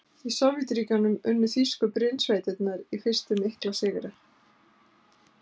Í Sovétríkjunum unnu þýsku brynsveitirnar í fyrstu mikla sigra.